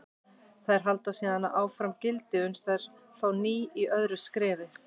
Þær halda síðan hverju gildi uns þær fá ný í öðru skrefi.